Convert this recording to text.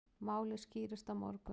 Málið skýrist á morgun.